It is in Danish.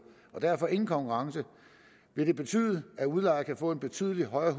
og derfor ingen konkurrence vil det betyde at udlejer kan få en betydelig højere